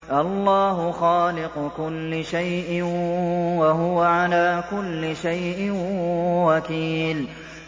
اللَّهُ خَالِقُ كُلِّ شَيْءٍ ۖ وَهُوَ عَلَىٰ كُلِّ شَيْءٍ وَكِيلٌ